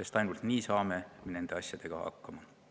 sest ainult nii saame nende asjadega hakkama.